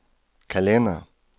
kalender